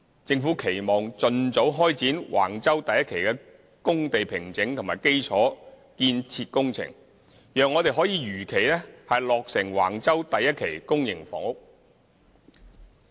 政府期望盡早開展橫洲第1期的工地平整和基礎建設工程，讓我們可如期落成橫洲第1期公營房屋。